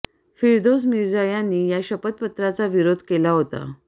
फिरदोस मिर्झा यांनी या शपथपत्राचा विरोध केला होता